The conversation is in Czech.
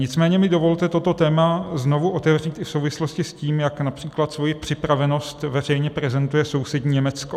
Nicméně mi dovolte toto téma znovu otevřít i v souvislosti s tím, jak například svoji připravenost veřejně prezentuje sousední Německo.